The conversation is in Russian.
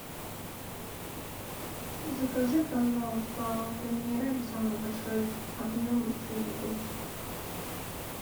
закажи пожалуйста аква минерале самый большой объем шесть бутылочек